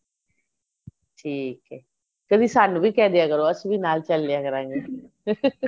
ਠੀਕ ਏਕਦੀ ਸਾਨੂੰ ਵੀ ਕਹਿ ਦਿਆ ਕਰੋ ਅਸੀਂ ਵੀ ਨਾਲ ਚੱਲ ਲਿਆ ਕਰਾਗੇ